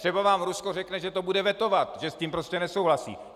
Třeba vám Rusko řekne, že to bude vetovat, že s tím prostě nesouhlasí.